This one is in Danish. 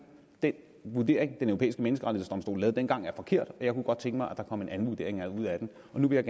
den vurdering den europæiske menneskerettighedsdomstol foretog dengang er forkert og jeg kunne godt tænke mig at der kom en anden vurdering ud af den og nu vil